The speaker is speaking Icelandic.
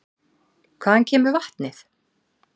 Hvaðan kemur vatnið?